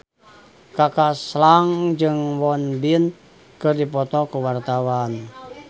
Kaka Slank jeung Won Bin keur dipoto ku wartawan